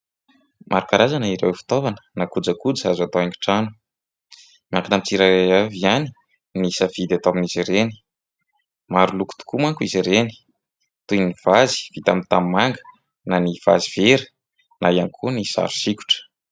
Maro karazana ireo fitaovana na kojakoja azo atao haingon-trano. Miankina amimn'ny tsirairay avy ihany ny safidy atao amin'izy ireny. Maro loko tokoa manko izy ireny, toy ny vazy vita amin'ny tanimanga, na ny vazy vera, na ihany koa ny sary sokitra.